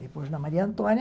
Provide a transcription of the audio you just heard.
Depois, na Maria Antônia.